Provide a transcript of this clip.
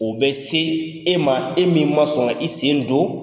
O bɛ se e ma e min ma sɔn ka i sen don